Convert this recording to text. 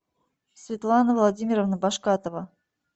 светлана владимировна башкатова